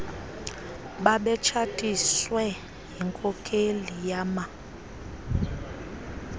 babetshatiswe yinkokheli yama